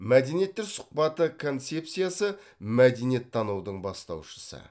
мәдениеттер сұхбаты концепциясы мәдениеттанудың бастаушысы